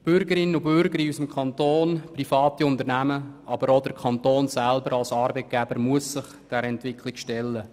Bürgerinnen und Bürger in unserem Kanton, private Unternehmen, aber auch der Kanton als Arbeitgeber müssen sich der Entwicklung stellen.